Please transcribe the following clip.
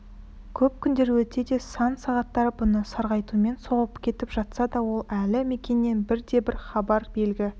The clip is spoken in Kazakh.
көп күндер өтсе де сан сағаттар бұны сарғайтумен соғып кетіп жатса да ол әлі мәкеннен бірде-бір хабар белгі